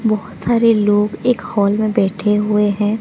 बहोत सारे लोग एक हॉल में बैठे हुए हैं।